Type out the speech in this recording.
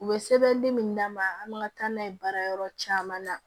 U bɛ sɛbɛndi min d'an ma an man ka taa n'a ye baarayɔrɔ caman na